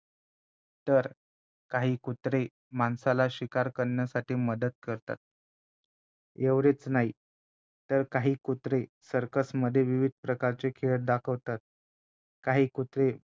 तर काही कुत्रे माणसाला शिकार करण्यासाठी मदत करतात एवढेचं नाही तर काही कुत्रे सर्कसमध्ये विविध प्रकारचे खेळ दाखवतात काही कुत्रे